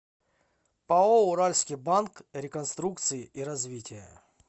пао уральский банк реконструкции и развития